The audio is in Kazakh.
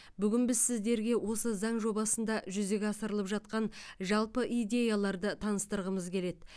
бүгін біз сіздерге осы заң жобасында жүзеге асырылып жатқан жалпы идеяларды таныстырғымыз келеді